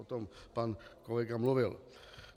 O tom pan kolega mluvil.